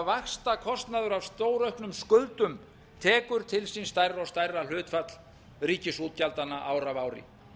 vaxtakostnaður af stórauknum skuldum tekur til sín stærra og stæra hlutfall ríkisútgjaldanna ár af ári